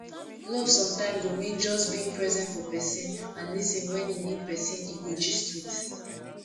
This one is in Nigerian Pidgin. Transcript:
love sometimes go mean just being present for pesin and lis ten when e need pesin e go gist with